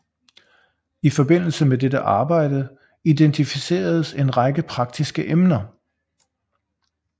I forbindelse med dette arbejde identificeredes en række praktiske emner